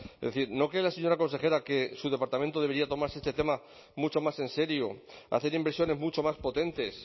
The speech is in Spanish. es decir no que la señora consejera que su departamento debería tomarse este tema mucho más en serio hacer inversiones mucho más potentes